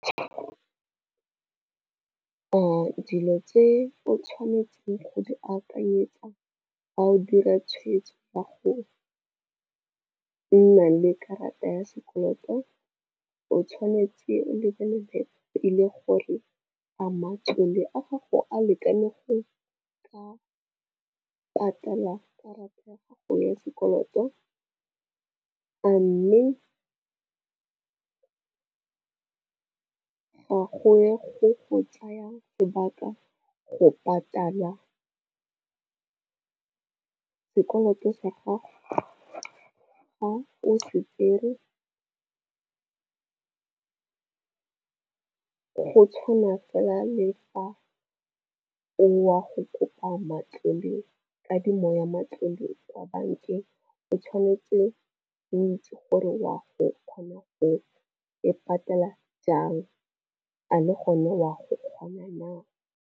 Dilo tse o tshwanetseng go di akanyetsa a o dira tshwetso ya go nna le karata ya sekoloto o tshwanetse go lebelela pele gore a matlole a gago a lekane go ka patala karata ya gago ya sekoloto. A mme gongwe go go tsaya sebaka go patala sekoloto sa gago fa o se tsere. Go tshwana fela le fa o ya go kopa matlole, kadimo ya matlole kwa bankeng, o tshwanetse o itse gore wa go kgona go e patela jang a le gone wa go kgona na.